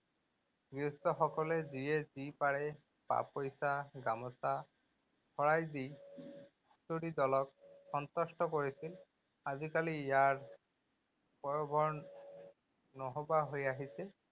গৃহস্থ সকলে যিয়ে যি পাৰে, পা পইচা, গামোচা, শৰাই দি হুঁচৰি দলক সন্তুষ্ট কৰিছিল। আজিকালি ইয়াৰ নথকা হৈ আহিছে।